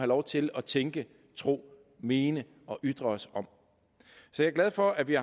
lov til at tænke tro mene og ytre os om jeg er glad for at vi